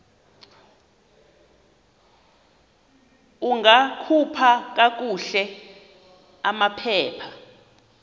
ungakhupha kakuhle amaphepha